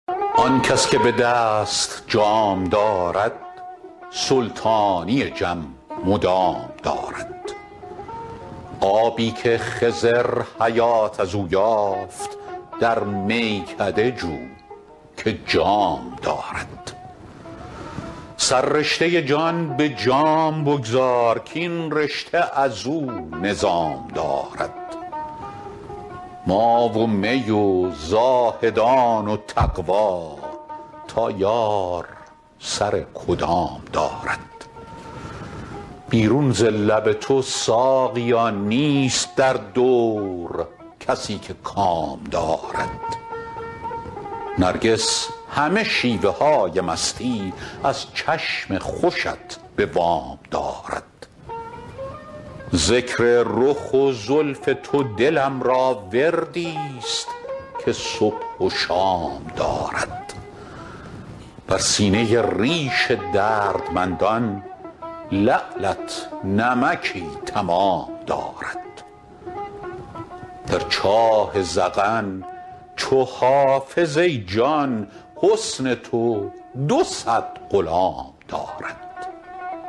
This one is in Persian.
آن کس که به دست جام دارد سلطانی جم مدام دارد آبی که خضر حیات از او یافت در میکده جو که جام دارد سررشته جان به جام بگذار کاین رشته از او نظام دارد ما و می و زاهدان و تقوا تا یار سر کدام دارد بیرون ز لب تو ساقیا نیست در دور کسی که کام دارد نرگس همه شیوه های مستی از چشم خوشت به وام دارد ذکر رخ و زلف تو دلم را وردی ست که صبح و شام دارد بر سینه ریش دردمندان لعلت نمکی تمام دارد در چاه ذقن چو حافظ ای جان حسن تو دو صد غلام دارد